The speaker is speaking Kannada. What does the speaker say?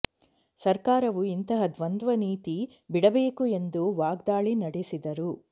ಸರ್ಕಾರವು ಇಂತಹ ದ್ವಂದ್ವ ನೀತಿ ಬಿಡಬೇಕು ಎಂದು ವಾಗ್ದಾಳಿ ನಡೆಸಿದರು